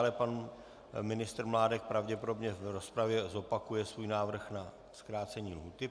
Ale pan ministr Mládek pravděpodobně v rozpravě zopakuje svůj návrh na zkrácení lhůty.